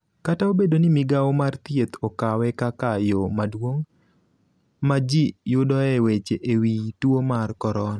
Kata obedo ni migao mar Thieth okawe kaka yo maduong� ma ji yudoe weche e wi tuo mar korona,